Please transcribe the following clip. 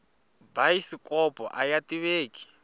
bayisikopo aya tiveki